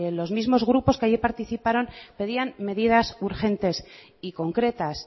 los mismos grupos que ayer participaron pedían medidas urgentes y concretas